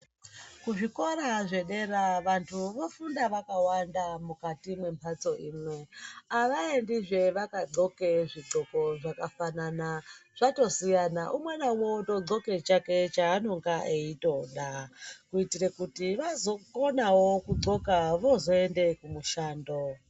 Kuzvikora zvedera vanthu vofunda vakawanda mukati membatso imwe. Avaendizve vakadhloke zvidhloko zvakafanana. Zvatosiyana, umwe naumwe unodhloke chake chaanonga eitoda, kuitira kuti vazokonawo kudhloka voozoende kumushando.